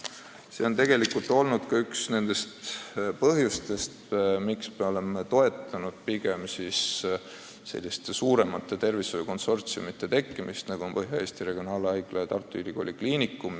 See ongi olnud üks põhjus, miks me oleme toetanud selliste suuremate tervishoiukonsortsiumite tekkimist, nagu on Põhja-Eesti Regionaalhaigla ja Tartu Ülikooli Kliinikum.